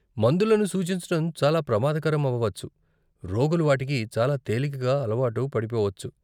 మందులను సూచించటం చాలా ప్రమాదకరం అవ్వవచ్చు, రోగులు వాటికి చాలా తేలికగా అలవాటు పడిపోవచ్చు.